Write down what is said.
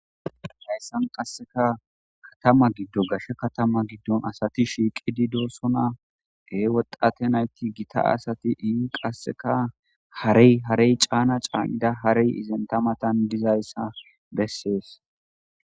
Hayssan qasseka katama giddo gashe katama giddon asati shiiqidi doossona ee wodate nayti gita asati in qasseka harey harey caana caa7ida harey izenta matan dizayssa bessees.